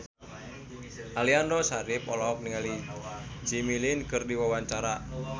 Aliando Syarif olohok ningali Jimmy Lin keur diwawancara